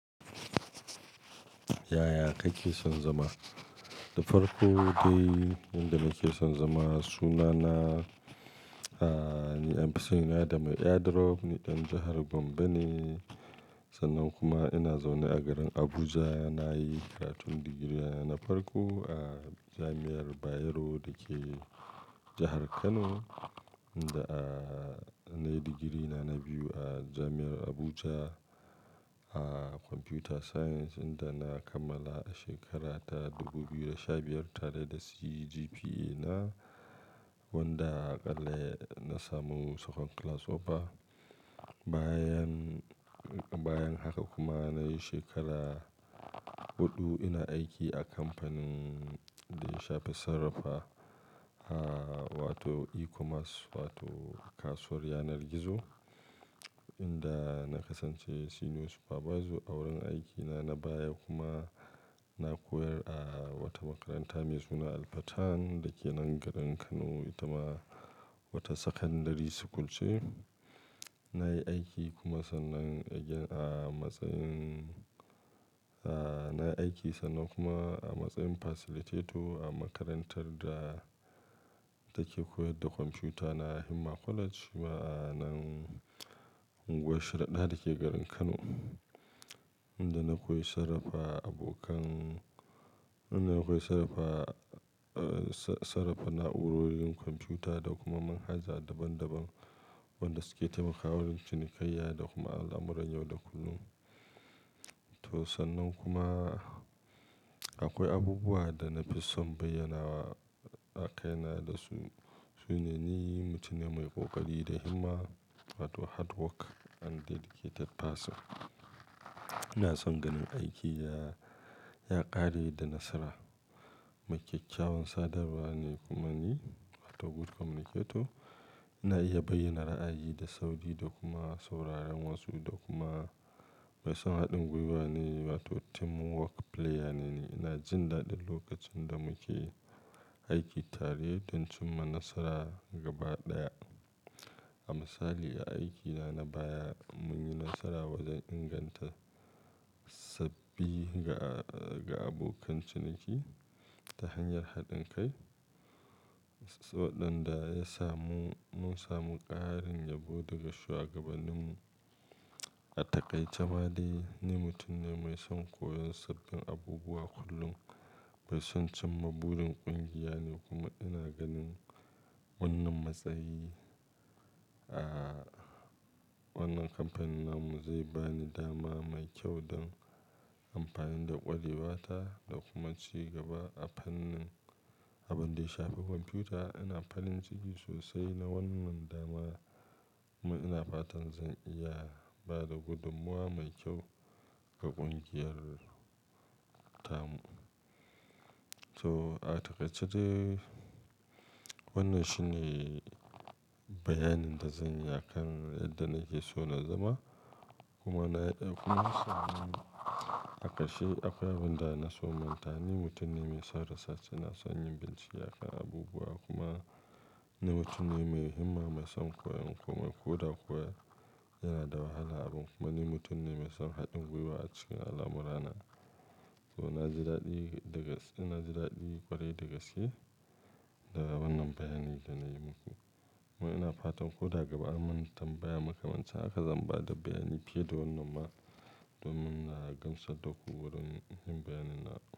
Yaya kake son zama? Da farko dai, inda nake son zama sunana, ahhh, ni 'yan fisan yana da mai airdrop ni dan jahar Gombe ne sannan kuma ina zaune a garin Abuja. Na yi karatun digiri na farko a Jami'ar Bayero da ke jahar Kano, inda, ahhh, na yi digiri na na biyu a Jami'ar Abuja a Computer Science inda na kammala a shekara ta dubu biyu da sha biyar tare da CGPA na wanda aƙalla na samu Second Class Upper. Bayan, bayan haka kuma na yi shekara huɗu ina aiki a kamfanin da ya shafi sarrafa, ahhh, wato eCommerce wato kasuwar yanar gizo inda na kasance Senior Supervisor a wurin aikina na baya kuma na koyar a wata makaranta mai suna Al-Fatan da ke nan garin Kano. Ita ma wata Secondary School ce. Na yi aiki kuma sannan a gidan a matsayin, ahhh, na yi aiki sannan kuma a matsayin Facilitator a makarantar da take koyar da kwamfuta na himma kwaleji ma a nan unguwar Sharaɗa da ke garin Kano, inda na koyi sarrafa abokan, inda na koyi sarrafa, ahhh, sarrafa na'urorin kwamfuta da kuma manhaja daban daban wanda su ke taimakawa wurin cinikayya da kuma al'amuran yau da kullum. To sannan kuma akwai abubuwa da na fi son bayyanawa a kaina da su, su ne ni mutum ne mai ƙoƙari da himma wato hard work and dedicated person. Ina son ganin aiki ya, ya ƙare da nasara. Mai kyakkyawan sadarwa ne kuma ni wato good communicator. Ina iya bayyana ra'ayi da sauri da kuma sauraron wasu da kuma mai son haɗin gwiwa ne wato teamwork player ne. Ina jin daɗin lokacin da muke aiki tare don cimma nasara gaba ɗaya. A misali, a aikina na baya mun yi nasara wajen inganta sabbi ga, ga abokan ciniki ta hanyar haɗin kai, saɗin da ya samu, mun samu ƙarin yabo daga shugabanni mu. A taƙaice ma dai ni mutum ne mai son koyon sabbin abubuwa kullum, mai son cimma burin ƙungiya ne kuma ina ganin wannan matsayi, ahhh, wannan kamfanin namu zai bani dama mai kyau don amfani da ƙwarewata da kuma ci gaba a fannin abin da ya shafi kwamfuta. Ina farin ciki sosai na wannan dama kuma ina fatan zan iya ba da gudummawa mai kyau ga ƙungiyar tamu. To a taƙaice dai wannan shi ne bayanin da zan yi a kan yadda nake so na zama. Kuma na, kuma a ƙarshe akwai abin da na so manta ni mutum ne mai son research, ina son yin bincike akan abubuwa kuma ni mutum ne mai himma, mai son koyo kuma ko da kuwa yana da wahala abun kuma ni mutum ne mai son haɗin gwiwa a cikin al'amurana. To na ji daɗi da gaske na ji daɗi ƙwarai da gaske da wannan bayani da na yi muku. Kuma ina fatan ko da gaba an mun tambaya makamancin hakan zan bada bayani fiye da wannan ma don mun gamsar daku wurin yin bayani na.